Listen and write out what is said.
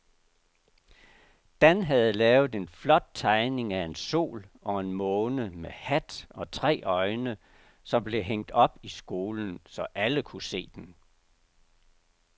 Dan havde lavet en flot tegning af en sol og en måne med hat og tre øjne, som blev hængt op i skolen, så alle kunne se den.